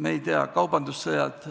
me ei tea, mida toovad kaasa kaubandussõjad.